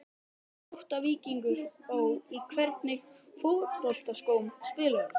Grótta-Víkingur Ó Í hvernig fótboltaskóm spilar þú?